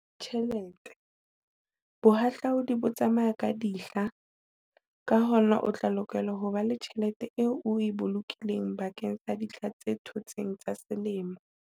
Tjhelete, bohahlaudi bo tsamaya ka dihla, ka hona o tla lokela ho ba le tjhelete eo o e bolokileng bakeng sa dihla tse thotseng tsa selemo.